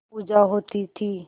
पूजा होती थी